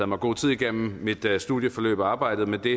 mig god tid igennem mit studieforløb og arbejdet med det